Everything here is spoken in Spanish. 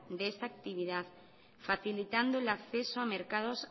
de esta actividad facilitando el acceso a mercados